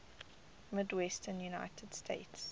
midwestern united states